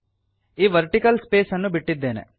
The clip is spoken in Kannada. ಈ ವರ್ಟಿಕಲ್ space ಅನ್ನು ಬಿಟ್ಟಿದ್ದೇನೆ